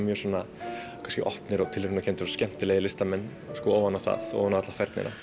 opnir og skemmtilegir listamenn ofan á það ofan á alla færnina